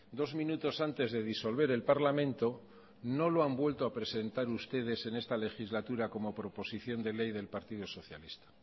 dos minutos antes de disolver el parlamento no lo han vuelto a presentar ustedes en esta legislatura como proposición de ley del partido socialista